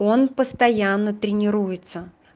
он постоянно тренируется